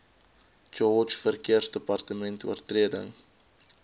george verkeersdepartement oortredings